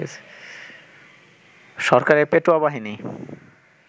সরকারের পেটোয়াবাহিনী